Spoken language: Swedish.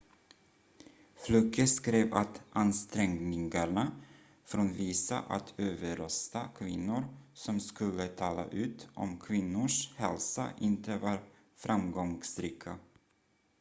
fluke skrev att ansträngningarna från vissa att överrösta kvinnor som skulle tala ut om kvinnors hälsa inte var framgångsrika